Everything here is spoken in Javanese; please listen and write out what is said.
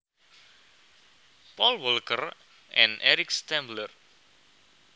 Paul Walker and Eric Stambler